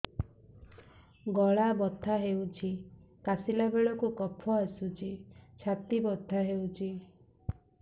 ଗଳା ବଥା ହେଊଛି କାଶିଲା ବେଳକୁ କଫ ଆସୁଛି ଛାତି ବଥା ହେଉଛି